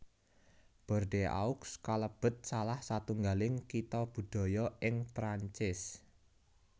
Bordeaux kalebet salah satunggaling Kitha Budaya ing Prancis